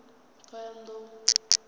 ṱhohoyanḓou